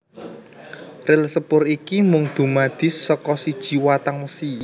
Ril sepur iki mung dumadi saka siji watang wesi